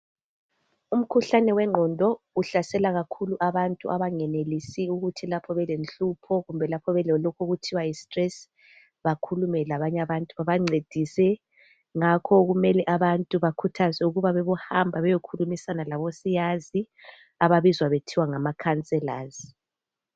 Umkhuhlane wengqondo uhlasela kakhulu abantu abangayenelisiyo ukuthi lapho belenhlupho kumbe belalokho okuthiwa yisi stress bakhulume labanye abantu babancedise ngakho kumele abantu bakhuthazwe ukba bebohamba beyekhulumisana labo siyasi ababizwa kuthiwa ngamakhacelazi